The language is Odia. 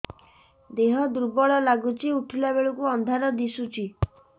ଦେହ ଦୁର୍ବଳ ଲାଗୁଛି ଉଠିଲା ବେଳକୁ ଅନ୍ଧାର ଦିଶୁଚି